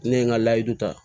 Ne ye n ka layidu ta